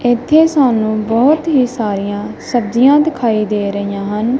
ਇੱਥੇ ਸਾਨੂੰ ਬਹੁਤ ਹੀ ਸਾਰੀਆਂ ਸਬਜੀਆਂ ਦਿਖਾਈ ਦੇ ਰਹੀਆਂ ਹਨ।